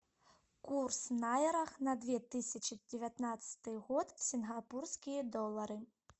курс найрах на две тысячи девятнадцатый год в сингапурские доллары